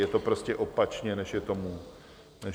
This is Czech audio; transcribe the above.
Je to prostě opačně, než je tomu dnes.